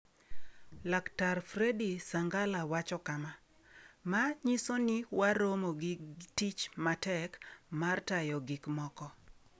Laktar Freddy Sangala wacho kama: "Ma nyiso ni waromo gi tich matek mar tayo gikmoko."